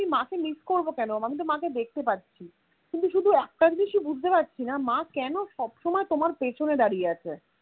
আমি মাকে miss করবো কেন আমি তো মাকে দেখতে পাচ্ছি. কিন্তু শুধু একটা জিনিষই বুঝতে পারছিনা মা কেন সবসময় তোমার পেছনে দাঁড়িয়ে আছে